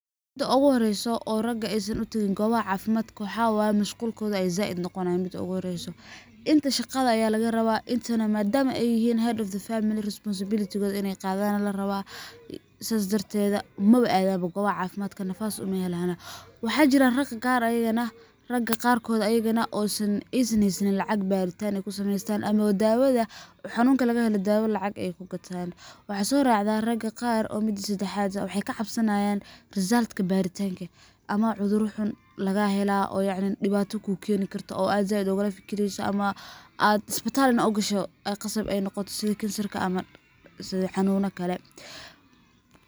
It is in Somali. Mida ogu horeysa oo raga aysan uteegin gobaha caafimaadka waxay waye mashqulkoda aya zaaid noqonaya mid ogu horeyso, inta shaqda aya laga raba, inta madama ay yihiin dad faamili responsibilitikod inay inay qadaan aya lagaraba Sidaas dartedda maba aadano gobaha caafimaadka nafas uma helaano. Waxa jiraan raga qaar ayagan aysan haysanin lacag baritan ay kusameeystan amawa xanunka laga helo daawa ay kugataan, waxaa soo racaa raga qar oo mida sedexad ah, waxay kacabsanayan risaltka baritanka ama cudura xun laga helaa oo yacni dhibaata kukeeni karto oo ad zaaid ogala fikireso ama ad istibal ogasho ay qasab noqoto sidi kansarka camal ama xanuuna kale